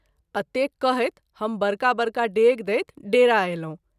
अतेक कहैत हम बरका बरका डेग दैत डेरा अयलहुँ।